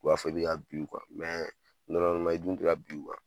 U b'a fɔ i bi ka bin u kan i dun ti ka bin kan